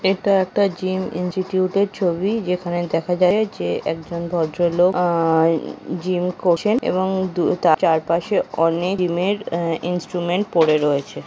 এটা একটা জিম ইঞ্জিটিউটের ছবি যেখানে দেখা যাচ্ছে যে একজন ভদ্র লোক আহ জিম করছেন এবং দু তার চারপাশে অনেক জিম এর আহ ইন্সট্রুমেন্ট পড়ে রয়েছে।